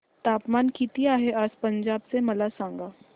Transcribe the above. तापमान किती आहे आज पंजाब चे मला सांगा